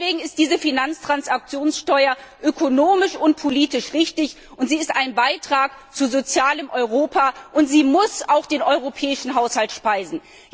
Deswegen ist diese Finanztransaktionssteuer ökonomisch und politisch richtig, sie ist ein Beitrag zu einem sozialen Europa, und sie muss auch den Europäischen Haushalt speisen.